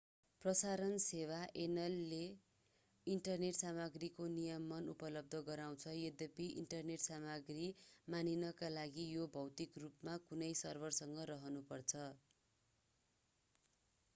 प्रसारण सेवा ऐनले इन्टरनेट सामग्रीको नियमन उपलब्ध गराउँछ यद्यपि इन्टरनेट सामग्री मानिनका लागि यो भौतिक रूपमा कुनै सर्भरमा रहनुपर्छ